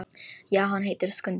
Já, hann heitir Skundi.